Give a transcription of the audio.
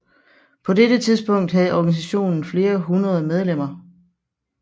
På dette tidspunkt havde organisationen flere hundrede medlemmer